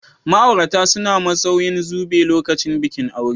Ma'aurata suna musauyan zube lokacin bikin aure.